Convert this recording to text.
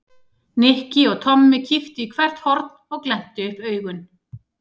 Nikki og Tommi kíktu í hvert horn og glenntu upp augun.